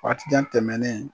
Fatijan tɛmɛnen